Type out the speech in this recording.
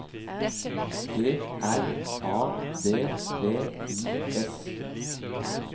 G R A D V I S